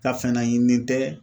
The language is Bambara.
Ka fɛn naɲini tɛ.